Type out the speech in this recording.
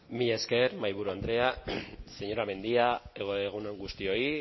mila esker mahaiburu andrea señora mendia egun on guztioi